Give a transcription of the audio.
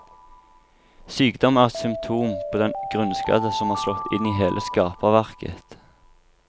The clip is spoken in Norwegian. Sykdom er et symptom på den grunnskade som har slått inn i hele skaperverket.